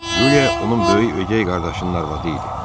Yuliya onun böyük ögəy qardaşının arvadı idi.